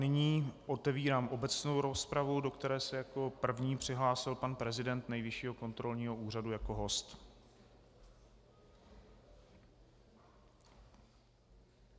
Nyní otevírám obecnou rozpravu, do které se jako první přihlásil pan prezident Nejvyššího kontrolního úřadu jako host.